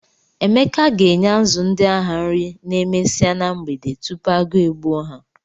Emeka ga-enye azụ ndị ahụ nri n'emesia na mgbede tupu agụụ e gbuo ha.